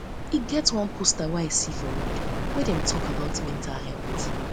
e get um one poster i see for road wey dey talk about mental um health um